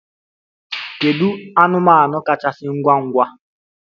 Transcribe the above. Kedu anụmanụ kachasị ngwa ngwa?